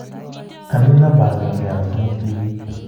Anii namba akenge ako somok tibiik?